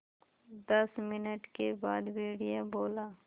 दस मिनट के बाद भेड़िया बोला